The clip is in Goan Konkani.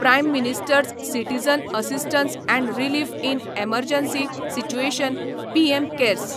prime minister's citizen assistance and relief in emergency situation PM cares